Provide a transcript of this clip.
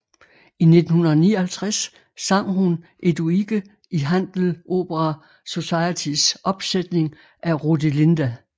I 1959 sang hun Eduige i Handel Opera Societys opsætning af Rodelinda